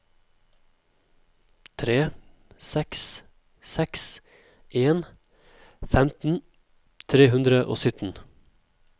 tre seks seks en femten tre hundre og sytten